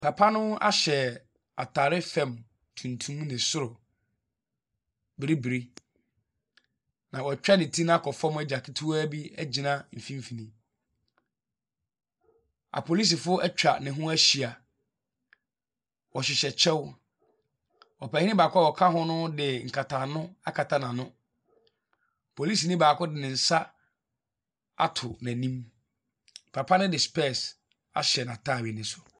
Papa no ahyɛ atare fa tuntum ne soro bibire, na watwa ne ti no akɔ fam agya ketewaa bi agyina mfimfini. Apolisifoɔ atwa ne ho ahyia. Wɔhyehyɛ kyɛw. Ɔpanin baako a ɔka hono de nkatano akata n'ano. Polisini baako de ne nsa ato n'anim. Papa no de specs ahyɛ n'atadeɛ no so.